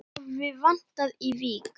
Það hafi vantað í Vík.